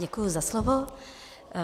Děkuji za slovo.